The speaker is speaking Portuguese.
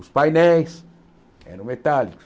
Os painéis eram metálicos.